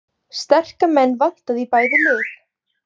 Sterka menn vantaði í bæði lið